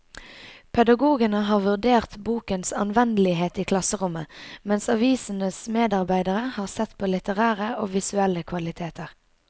Pedagogene har vurdert bokens anvendelighet i klasserommet, mens avisens medarbeidere har sett på litterære og visuelle kvaliteter.